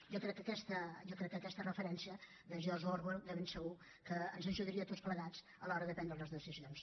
jo crec que aquesta referència de george orwell de segur que ens ajudaria tots plegats a l’hora de prendre les decisions